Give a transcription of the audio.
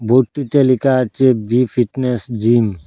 বোর্ডটি তে লিকা আচে বি ফিটনেস জিম ।